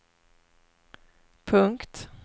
punkt